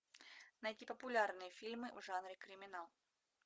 найти популярные фильмы в жанре криминал